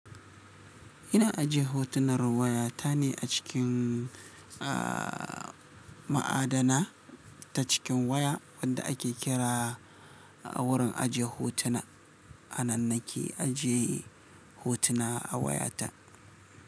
Ina ajiye hotunar waya ta ne a cikin, aa ma'adana ta cikin waya wanda ake kira wurin ajiye hotuna. A nan na ke ajiye hotuna a waya ta.